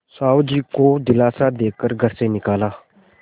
साहु जी को दिलासा दे कर घर से निकाला